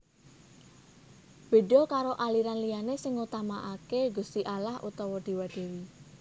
Béda karo aliran liyané sing ngutamakaké Gusti Allah utawa Déwa Dèwi